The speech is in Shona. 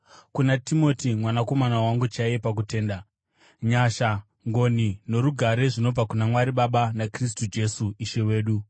kuna Timoti mwanakomana wangu chaiye pakutenda: Nyasha, ngoni norugare zvinobva kuna Mwari Baba naKristu Jesu Ishe wedu.